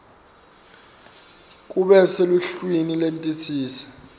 kube seluhlwini lwetinsita